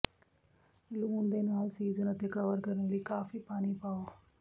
ਲੂਣ ਦੇ ਨਾਲ ਸੀਜ਼ਨ ਅਤੇ ਕਵਰ ਕਰਨ ਲਈ ਕਾਫੀ ਪਾਣੀ ਪਾਓ